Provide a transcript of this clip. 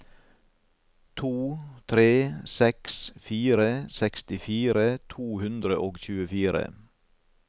to tre seks fire sekstifire to hundre og tjuefire